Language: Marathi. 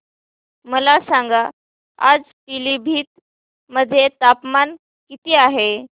मला सांगा आज पिलीभीत मध्ये तापमान किती आहे